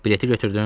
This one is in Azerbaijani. Bileti götürdün?